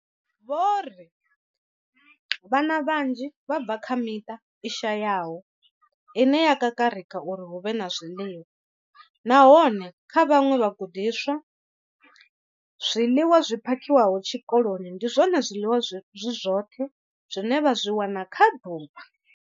Vho ri vhana vhanzhi vha bva kha miṱa i shayaho ine ya kakarika uri hu vhe na zwiḽiwa, nahone kha vhaṅwe vhagudiswa, zwiḽiwa zwi phakhiwaho tshikoloni ndi zwone zwiḽiwa zwi zwoṱhe zwine vha zwi wana kha ḓuvha.